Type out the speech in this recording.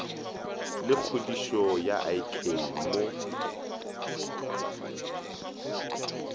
le kgodišo ya ik mo